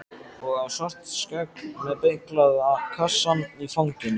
Og á Svartskegg með beyglaða kassann í fanginu.